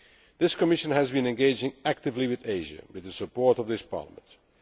This Commission has been engaging actively with Asia, with the support of this Parliament.